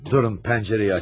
Durun, pəncərəyi açım.